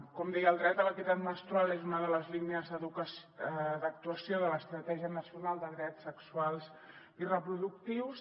com deia el dret a l’equitat menstrual és una de les línies d’actuació de l’estratègia nacional de drets sexuals i reproductius